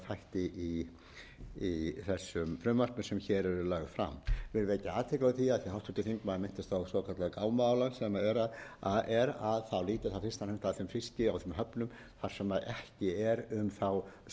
í þessum frumvörpum sem hér eru lögð fram ég vil vekja athygli á því af því háttvirtur þingmaður minntist á svokallað gámaálag sem er lýtur það fyrst og fremst að þeim fiski og þeim höfnum þar sem ekki er um samræmda vigtunaraðferð